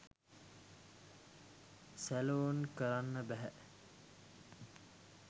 Salon කරන්න බැහැ.